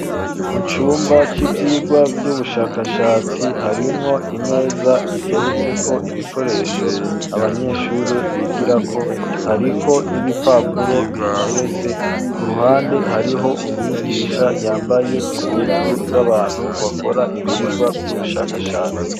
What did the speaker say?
Mu cumba c'ivygwa by'ubushakashatsi harimwo imeza iteretse ko ibikoresho abanyeshuri bigira ko hariko n'ibipapuro bihateretse ku ruhande hariho umwigisha yambaye impuzu z'abantu bakora ibyigwa by'ubushakashatsi.